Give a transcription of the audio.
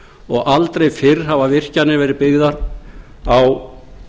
og aldrei fyrr hafa virkjanir verið byggðar á